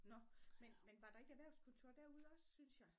Nåh men men var der ikke erhverhvskontor derude også synes jeg?